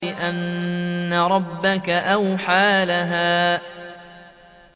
بِأَنَّ رَبَّكَ أَوْحَىٰ لَهَا